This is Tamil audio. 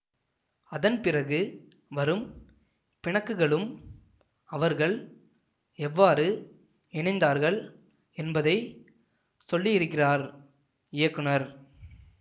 அதன்பிறகு வரும் பிணக்குகளும் அவர்கள் எவ்வாறு இணைந்தார்கள் என்பதை சொல்லியிருக்கிறார் இயக்குனர்